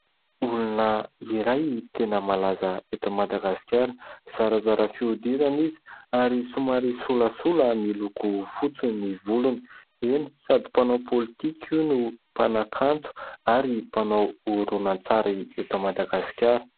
Olona iray tena malaza eto Madagasikara zarazara fihodirana izy ary somary solasola miloko fotsy ny volony eny sady mpanao politika io no mpanakanto ary mpanao horonan-tsary eto Madagasikara